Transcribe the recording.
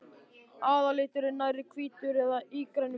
Aðalliturinn er nærri hvítur með ígrænum blæ.